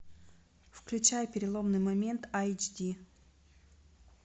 включай переломный момент эйч ди